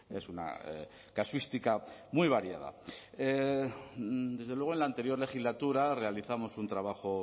es una casuística muy variada desde luego en la anterior legislatura realizamos un trabajo